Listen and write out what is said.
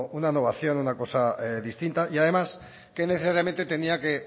una nueva acción una cosa distinta y además que necesariamente tenía que